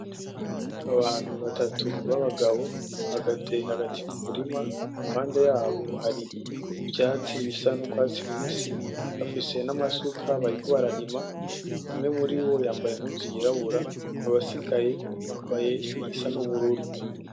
Abantu batatu b’abagabo bahagaze hagati mu murima, iruhande yabo hari ivyatsi bisa n’urwatsi rubisi. Bafise n’amasuka bariko bararima, umwe muri bo yambaye impuzu yirabura, abasigaye bambaye iyisa n’ubururu.